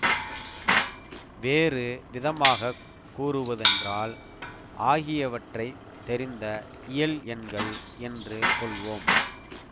வேறு விதமாக கூறுவதென்றால் ஆகியவற்றை தெரிந்த இயல் எண்கள் என்று கொள்வோம்